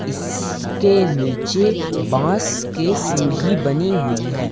इसके नीचे बांस के सीढ़ी बनी हुई है।